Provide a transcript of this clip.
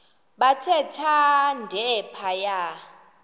bathe thande phaya